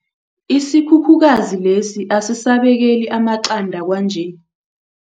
Isikhukhukazi lesi asisabekeli amaqanda kwanje.